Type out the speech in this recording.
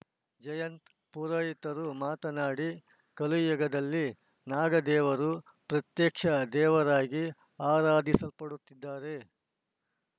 ಜಯಂತ ಪುರೋಹಿತರು ಮಾತನಾಡಿ ಕಲಿಯುಗದಲ್ಲಿ ನಾಗದೇವರು ಪತ್ಯಕ್ಷ ದೇವರಾಗಿ ಆರಾಧಿಸಲ್ಪಡುತ್ತಿದ್ದಾರೆ